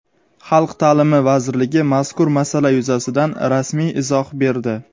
Xalq ta’limi vazirligi mazkur masala yuzasidan rasmiy izoh berdi.